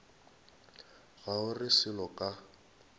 ga o re selo ka